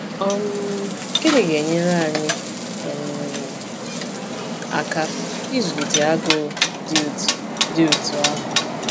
um Gịnị ga-enyere anyị um aka ịzụlite agụụ dị otú dị otú ahụ?